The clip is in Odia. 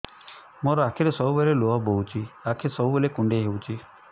ମୋର ଆଖିରୁ ସବୁବେଳେ ଲୁହ ବୋହୁଛି ଆଖି ସବୁବେଳେ କୁଣ୍ଡେଇ ହଉଚି